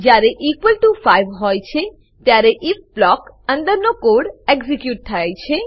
જયારે તે equal to 5 હોય છે ત્યારે ઇફ બ્લોક અંદરનો કોડ એક્ઝીક્યુટ થયા છે